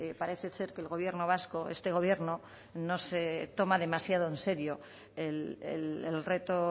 parece ser que el gobierno vasco este gobierno no se toma demasiado en serio el reto